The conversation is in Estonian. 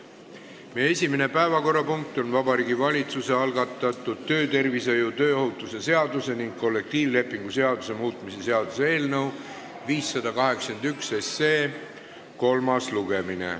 Meie esimene päevakorrapunkt on Vabariigi Valitsuse algatatud töötervishoiu ja tööohutuse seaduse ning kollektiivlepingu seaduse muutmise seaduse eelnõu 581 kolmas lugemine.